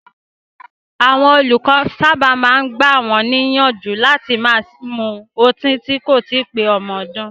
Àwọn olùkọ́ sábà máa ń gbà wọ́n níyànjú láti má ṣe mu ọtí tí kò tíì pé ọmọ ọdún.